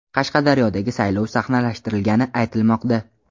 Qashqadaryodagi saylov sahnalashtirilgani aytilmoqda.